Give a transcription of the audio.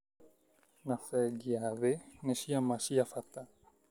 na bengi ya thĩ nĩ ciama cia bata